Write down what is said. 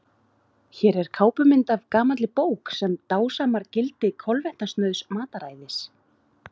hér er kápumynd af gamalli bók sem dásamar gildi kolvetnasnauðs mataræðis